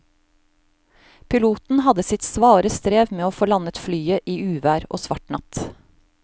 Piloten hadde sitt svare strev med å få landet flyet i uvær og svart natt.